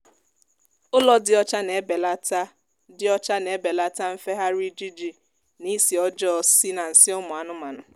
ụlọ dị ocha na-ebelata dị ocha na-ebelata nfegharị ijiji na isi ọjọọ si na nsị ụmụ anụmanụ